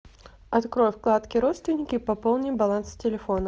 открой вкладки родственники пополни баланс телефона